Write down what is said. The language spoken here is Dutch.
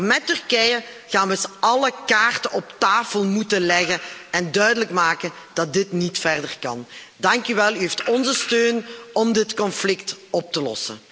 Maar met Turkije gaan we eens alle kaarten op tafel moeten leggen om duidelijk te maken dat dit niet verder kan. Dank u wel, u hebt onze steun om dit conflict op te lossen.